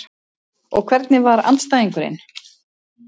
Og hvernig var andstæðingurinn?